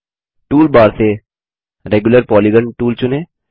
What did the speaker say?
toolbar से regular polygon tool चुनें